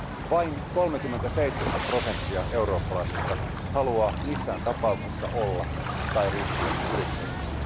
Vain 37 prosenttia eurooppalaisista haluaa missään tapauksessa olla yrittäjä tai ryhtyä yrittäjäksi.